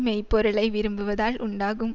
மெய் பொருளை விரும்புவதால் உண்டாகும்